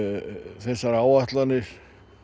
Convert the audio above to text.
þessar áætlanir